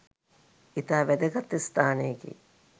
ඉතා වැදගත් ස්ථානයකි.